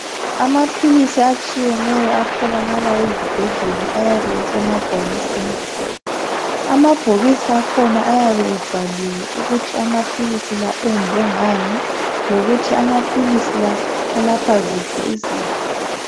Amaphilisi atshiyeneyo atholakala ezibhedlela ayabe esemabhokisini. Amabhokisi akhona ayabe ebhaliwe ukuthi amaphilisi la enziwe ngani lokuthi amaphilisi la alapha ziphi izifo.